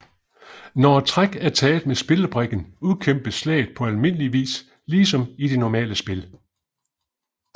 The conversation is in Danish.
Når et træk er taget med spillebrikken udkæmpes slaget på almindeligvis ligesom i de normale spil